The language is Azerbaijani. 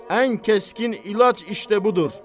Ən kəskin ilac işdə budur.